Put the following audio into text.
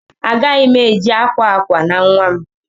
Agaghị m eji akwa akwa na nwa m.